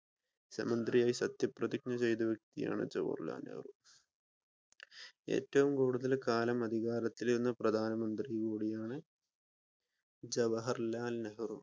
സത്യാപ്രതിജ്ഞ ചെയ്ത വ്യക്തിയാണ് ജവാഹർലാൽ നെഹ്‌റു. ഏറ്റവും കൂടുതൽ കാലം അധികാരത്തിൽ ഇരുന്ന പ്രധാനമന്ത്രിയും കൂടിയാണ് ജവാഹർലാൽ നെഹ്‌റു